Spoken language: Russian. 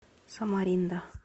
самаринда